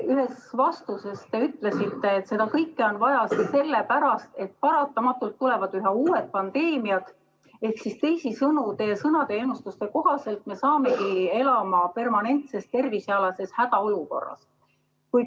Ühes vastuses te ütlesite, et seda kõike on vaja sellepärast, et paratamatult tulevad üha uued pandeemiad, ehk teisisõnu, teie sõnade, ennustuste kohaselt me saamegi elama permanentses tervisealases hädaolukorras.